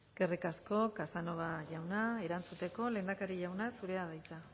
eskerrik asko casanova jauna erantzuteko lehendakari jauna zurea da hitza